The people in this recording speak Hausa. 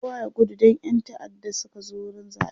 kowa ya gudu Dan ƴan ta'adda Suka zo wurin zaɓen